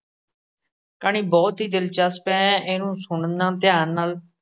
ਕਹਾਣੀ ਬਹੁਤ ਹੀ ਦਿਲਚਸਪ ਹੈ ਇਹਨੂੰ ਸੁਣਨਾ ਧਿਆਨ ਨਾਲ।